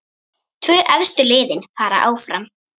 Tvö efstu liðin fara áfram.